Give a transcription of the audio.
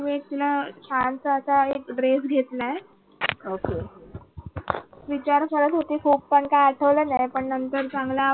मी तिला छानसा आता एक dress घेतलाय विचार करत होती खूप पण काय आठवलं नाही पण नंतर चांगला